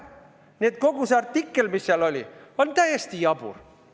Nii et kogu see artikkel, see, mis seal oli, on täiesti jabur.